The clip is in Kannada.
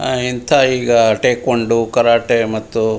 ಆಹ್ಹ್ ಎಂಥ ಈಗ ಠೆಕ್ವಾನಡೊ ಕರಾಟೆ ಮತ್ತು --